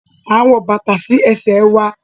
A n wọ bàtà si ẹ̀se wà